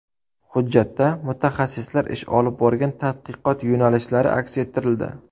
Hujjatda mutaxassislar ish olib borgan tadqiqot yo‘nalishlari aks ettirildi.